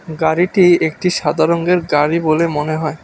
গাড়িটি একটি সাদা রঙ্গের গাড়ি বলে মনে হয়।